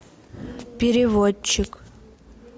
переводчик